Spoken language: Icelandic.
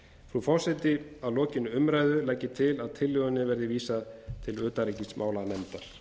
frú forseti að lokinni umræðu legg ég til að tillögunni verði vísað til utanríkismálanefndar